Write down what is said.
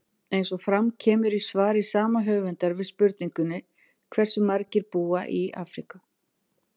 Eins og fram kemur í svari sama höfundar við spurningunni Hversu margir búa í Afríku?